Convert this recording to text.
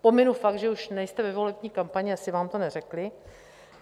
Pominu fakt, že už nejste ve volební kampani, asi vám to neřekli.